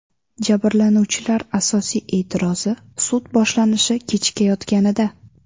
Jabrlanuvchilar asosiy e’tirozi – sud boshlanishi kechikayotganida.